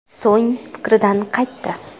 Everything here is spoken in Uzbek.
So‘ng fikridan qaytdi.